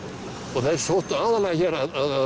og þeir sóttu aðallega hér að